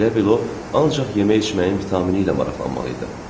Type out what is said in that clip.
Elə bil o ancaq yemək içməyin təmini ilə maraqlanmalı idi.